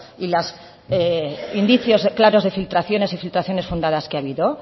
y los indicios claros de filtraciones y filtraciones fundadas que ha habido